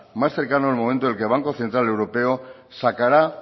más cercano el momento en el que el banco central europeo sacará